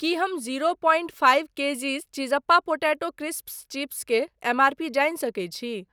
की हम zero point five kgs चिज़्ज़पा potato crisps chips के एमआरपी जानि सकैत छी ?